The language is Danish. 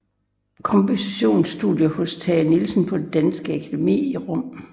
Kompositionsstudier hos Tage Nielsen på Det Danske Akademi i Rom